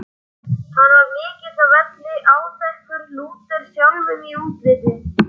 Hann var mikill á velli, áþekkur Lúter sjálfum í útliti.